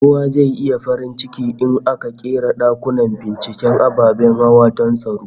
Kowa zai yi farin ciki in aka ƙera dakunan binciken ababen hawa don tsaro